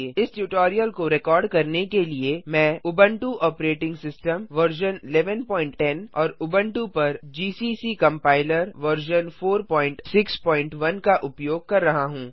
इस ट्यूटोरियल को रिकार्ड करने के लिए मैं उबुंटू ऑपरेटिंग सिस्टम वर्जन 1110 और उबुंटू पर जीसीसी कम्पाइलर वर्जन 461 का उपयोग कर रहा हूँ